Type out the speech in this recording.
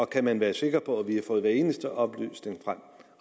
kan man være sikker på at vi har fået hver eneste oplysning frem